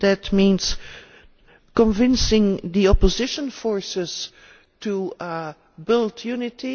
that means convincing the opposition forces to build unity